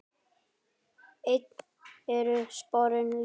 Enn eru sporin létt.